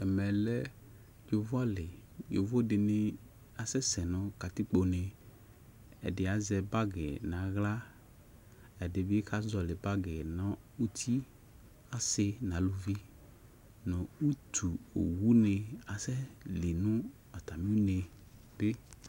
Ɛmɛlɛ yovoalɩ yovo dɩnɩ asɛse nʊ katɩkpone ɛdɩ azɛ bagi nu aɣla ɛdibɩ kazɔlɩ bagi nʊ ʊtɩ asɩ nʊ alʊvɩ nʊ utu owʊnɩ asɛlɩ nʊ atamɩ une